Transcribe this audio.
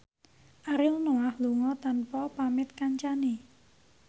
Ariel Noah lunga tanpa pamit kancane